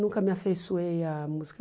Nunca me afeiçoei à música.